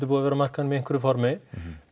búið að vera á markaðnum í einhverju formi